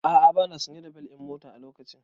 A'a bana sanye da bel ɗin mota a lokacin